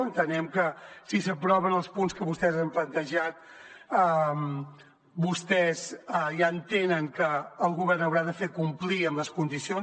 entenem que si s’aproven els punts que vostès han plantejat vostès ja entenen que el govern haurà de fer complir amb les condicions